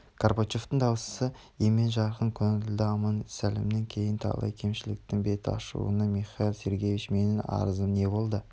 горбачевтың дауысы емен-жарқын көңілді аман-сәлемнен кейін талай кемшліктің бет ашылуда михаил сергеевич менің арызым не болды